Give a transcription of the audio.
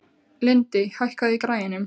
Lindi, hækkaðu í græjunum.